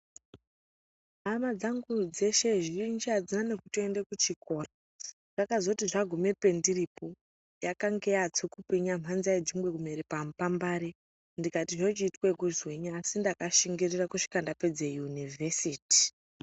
Hama dzangu dzeshe zhinji hadzima nekutoende kuchikora, zvakazoti zvaguma pendiripo yakanga yava tsukupwinya panza yadzingwe kumera pambapare ndikati zvechiitwe kunzii asi ndakashingirire kusvika ndapedza yunivhesiti.